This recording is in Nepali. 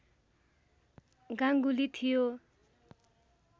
गाङ्गुली थियो